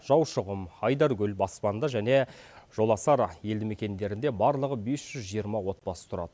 жаушұғым айдаркөл баспанды және жоласар елді мекендерінде барлығы бес жүз жиырма отбасы тұрады